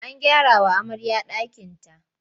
An gyarawa amarya ɗakinta.